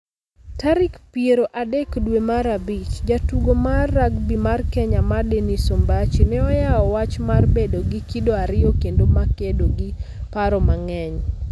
Tarik piero adek dwe mar Abich, jatugo mar rugby mar Kenya ma Dennis Ombachi ne oyawo wach mar bedo gi kido ariyo kendo makedo gi paro mang'eny.